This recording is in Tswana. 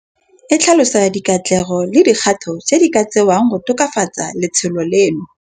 E tlhalosa dikatlego le dikgato tse di ka tsewang go tokafatsa letsholo leno.